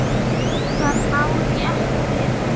Það má rétt vera.